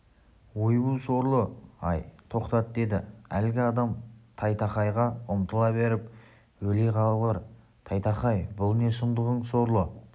ойбу сорлы-ай тоқтат деді әлгі адам тайтақайға ұмтыла беріп өле қалғыр тайтақай бұл не сұмдығың сорлы